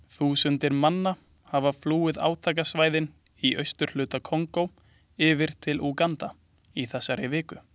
Þúsundir manna hafa flúið átakasvæðin í austurhluta Kongó yfir til Úganda í þessari viku.